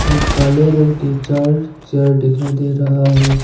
और काले रंग के चार चेयर दिखाई दे रहा है।